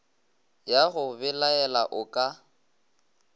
ya go belaela o ka